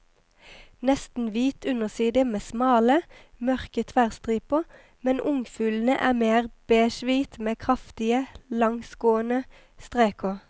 Nesten hvit underside med smale, mørke tverrstriper, men ungfuglene er mer beigehvit med kraftige, langsgående streker.